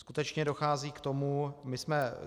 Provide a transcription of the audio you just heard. Skutečně dochází k tomu...